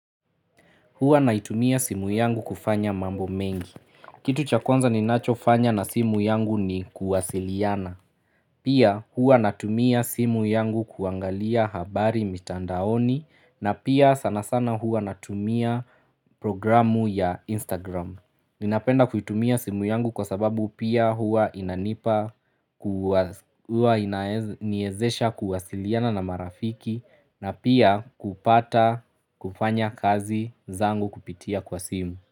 Hua naitumia simu yangu kufanya mambo mengi. Kitu cha kwanza ninacho fanya na simu yangu ni kuwasiliana. Pia hua natumia simu yangu kuangalia habari mitandaoni na pia sana sana hua natumia programu ya Instagram. Ninapenda kuitumia simu yangu kwa sababu pia huwa inanipa, huwa inaniwezesha kuwasiliana na marafiki na pia kupata kufanya kazi zangu kupitia kwa simu.